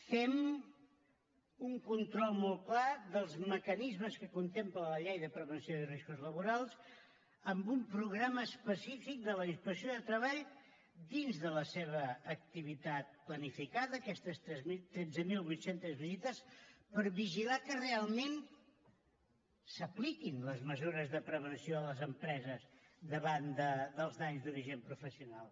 fem un control molt clar dels mecanismes que contempla la llei de prevenció de riscos laborals amb un programa específic de la inspecció de treball dins de la seva activitat planificada aquestes tretze mil vuit cents visites per vigilar que realment s’apliquin les mesures de prevenció a les empreses davant dels danys d’origen professional